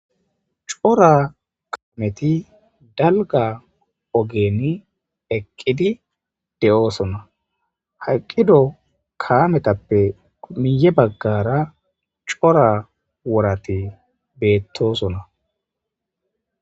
Cora kameti dalgga ogen eqqidi de'oson.ha eqqido kametappe miye baggara cora worati bettosona.